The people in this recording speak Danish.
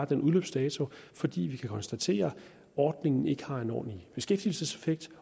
den udløbsdato fordi vi kan konstatere at ordningen ikke har en ordentlig beskæftigelseseffekt